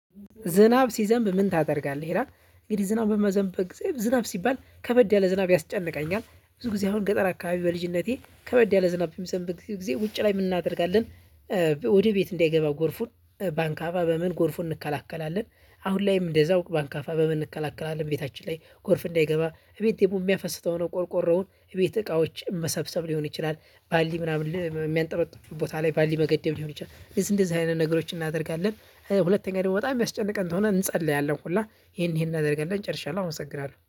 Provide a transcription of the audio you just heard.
ዝናብ ሲዘንብ ምን? ታደርጋለህ ይላል እንግዲህ ዝናብ በሚዘንብበት ጊዜ ዝናብ ሲባል ከበድ ያለ ዝናብ ያስጨንቀኛል ብዙ ጊዜ አሁን ገጠር አካባቢ በልጅነቴ ከበድ ያለ ዝናብ የሚዘንብ ጊዜ ውጪ ላይ የምናደርጋለን። ወደ ቤት እንዳይገባ ጎርፉን ባአካፋ በምን ጎርፉን እንከላከላለን። አሁንላይም እንደዛው ባአካፋ በምን እንከላከላለን ቤታችን ላይ ጎርፍ እንዳይገባ እቤት ደግሞ እሚያፈስ ከሆነ ቆርቆሮውን እቤት እቃዎች መሰብሰብ ሊሆን ይችላል። ባሊ ምናምን የሚያንጠረጥ ቦታ ላይ ባሊ መገደብ ሊሆን ይችላል እንደዚህ እንደዚህ አይነት ነገሮችን እናደርጋለን። ሁለተኛ ደግሞ በጣም እማያስጨንቀን ከሆነ እንጸልያለን ሁላ ይሄን ይሄን አናደርጋለን ጨርሻለሁ አመሰግናለሁ